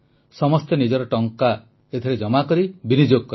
ସମସ୍ତେ ନିଜର ଜମା ଟଙ୍କା ଏଥିରେ ବିନିଯୋଗ କଲେ